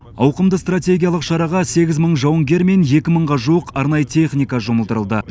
ауқымды стратегиялық шараға сегіз мың жауынгер мен екі мыңға жуық арнайы техника жұмылдырылды